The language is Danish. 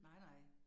Nej nej